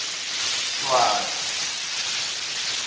swati